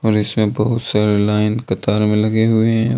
और इसमें बहुत सारे लाइन कतार में लगे हुए हैं।